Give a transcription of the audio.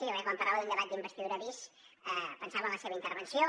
jo crec que quan parlava d’un debat d’investidura bis pensava en la seva intervenció